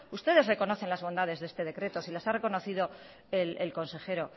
ustedes reconocen las bondades de este decreto so las ha reconocido el consejero